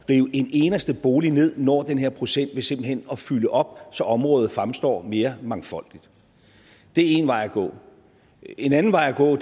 en eneste bolig ned når den her procent ved simpelt hen at fylde op så området fremstår mere mangfoldigt det er én vej at gå en anden vej at gå